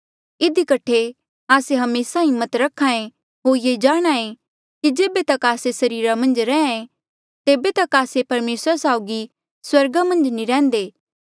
इधी कठे आस्से हमेसा हिम्मत रख्हा ऐें होर ये जाणहां ऐें कि जेबे तक आस्से सरीरा मन्झ रैंहयां ऐें तेबे तक आस्से परमेसरा साउगी स्वर्गा मन्झ नी रैहन्दे